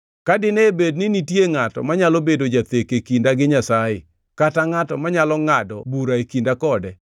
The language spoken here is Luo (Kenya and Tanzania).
Ka dine bed ni nitie ngʼato manyalo bedo jathek e kinda gi Nyasaye, kata ngʼato manyalo ngʼado bura e kinda kode,